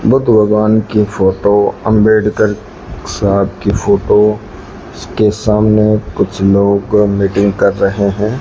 बुद्ध भगवान की फोटो अंबेडकर साहब की फोटो के सामने कुछ लोग मीटिंग कर रहे है।